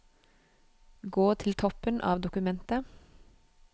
Gå til toppen av dokumentet